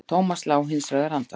Thomas lá hins vegar andvaka.